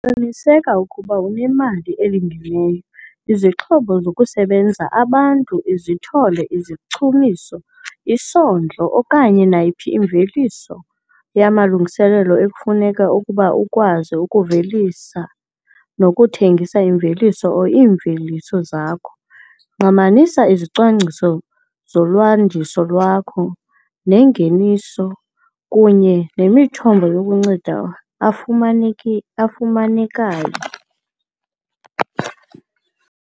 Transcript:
Qiniseka ukuba unemali elingeneyo, izixhobo zokusebenza, abantu, izithole, izichumiso, isondlo, okanye nayiphi imveliso yamalungiselelo ekufuneka ukuze ukwazi ukuvelisa nokuthengisa imveliso or iimveliso zakho. Ngqamanisa izicwangciso zolwandiso lwakho nengeniso kunye nemithombo yokunceda afumanekayo.